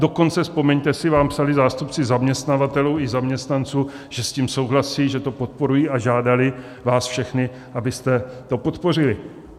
Dokonce, vzpomeňte si, vám psali zástupci zaměstnavatelů i zaměstnanců, že s tím souhlasí, že to podporují, a žádali vás všechny, abyste to podpořili.